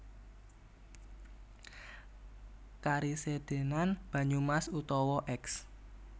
Karesidhenan Banyumas utawa Eks